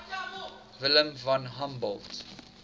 wilhelm von humboldt